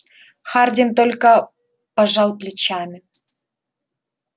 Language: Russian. хардин только пожал плечами